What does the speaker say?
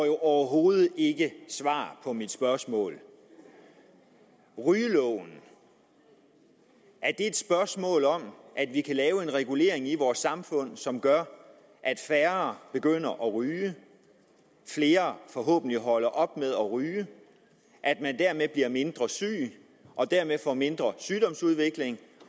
jo overhovedet ikke svar på mit spørgsmål er rygeloven et spørgsmål om at vi kan lave en regulering i vores samfund som gør at færre begynder at ryge at flere forhåbentlig holder op med at ryge at man dermed bliver mindre syg og dermed får mindre sygdomsudvikling